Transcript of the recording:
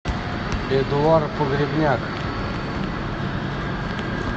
эдуард погребняк